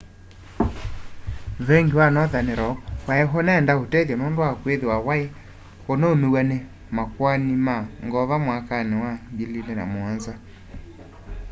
venki wa nothern rock wai unenda utethyo nundu wa kwithiwa wai unaumiw'a ni makoani ma ngova mwakani wa 2007